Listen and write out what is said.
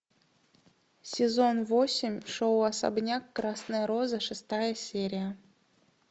сезон восемь шоу особняк красная роза шестая серия